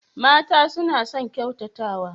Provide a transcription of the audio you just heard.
Mata suna son ƙyautatawa.